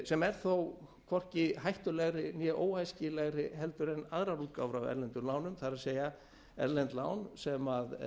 sem er þó hvorki hættulegri né óæskilegri heldur en aðrar útgáfur af erlendum lánum það er erlend lán sem